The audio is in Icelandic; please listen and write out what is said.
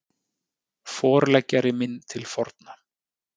Forleggjari minn til forna